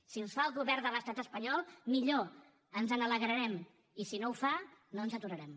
si els fa el govern de l’estat espanyol millor ens n’alegrarem i si no els fa no ens aturarem